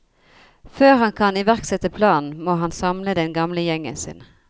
Før han kan iverksette planene må han samle den gamle gjengen sin.